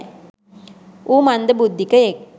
ඌ මන්ද බුද්දීකයෙක්.